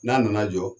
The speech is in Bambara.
N'a nana jɔ